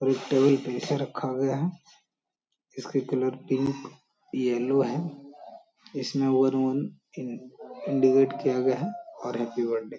और एक टेबल पे इसे रखा गया है इसके कलर पिंक येलो है इसमें वरुण इन्डिकेट किया गया है और हैप्पी बर्थडे --